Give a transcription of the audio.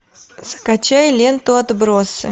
скачай ленту отбросы